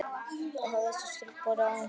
Hafa þessar skýrslur borið árangur?